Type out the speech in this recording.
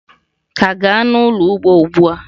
ka gaa n'ulo ugbo ugbua!